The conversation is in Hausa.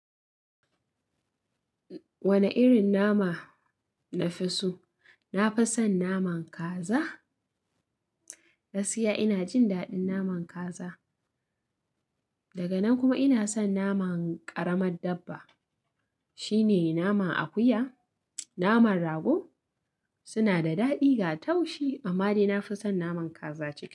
Wane irin nama nafi so? Nafi son naman kaza. Gaskiya ina jin daɗin naman kaza. Daga nan kuma ina son naman ƙaramar dabba. Shi ne naman akuya, naman rago suna da daɗi ga taushi amma dai nafi son naman kaza ce.